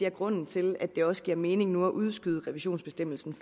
er grunden til at det også giver mening nu at udskyde revisionsbestemmelsen